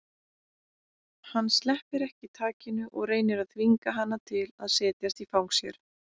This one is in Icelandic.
Hann sleppir ekki takinu og reynir að þvinga hana til að setjast í fang sér.